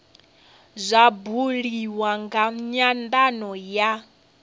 zwa buliwa nga nyandano ya